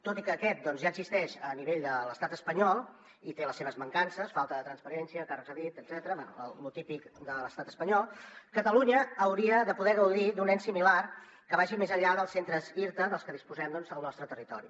tot i que aquest ja existeix a nivell de l’estat espanyol i té les seves mancances falta de transparència càrrecs a dit etcètera bé lo típic de l’estat espanyol catalunya hauria de poder gaudir d’un ens similar que vagi més enllà dels centres irta dels que disposem al nostre territori